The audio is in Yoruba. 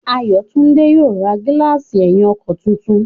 Ayọ̀túndé yóò ra gílààsì ẹ̀yìn ọkọ̀ tuntun